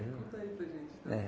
Conta aí para a gente então. É